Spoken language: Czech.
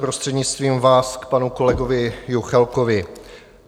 Prostřednictvím vás, k panu kolegovi Juchelkovi.